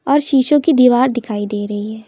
और शीशो की दीवार दिखाई दे रही है।